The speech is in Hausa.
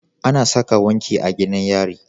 Ana Saka wanki a gidan yari